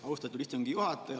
Austatud istungi juhataja!